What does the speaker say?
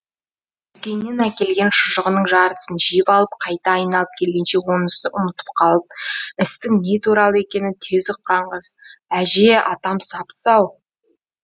дүкеннен әкелген шұжығының жартысын жеп алып қайта айналып келгенше онысын ұмытып қалып істің не туралы екенін тез ұққан қыз әже атам сап сау